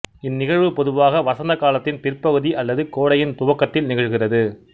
இந் நிகழ்வு பொதுவாக வசந்த காலத்தின் பிற்பகுதி அல்லது கோடையின் துவக்கத்தில் நிகழ்கிறது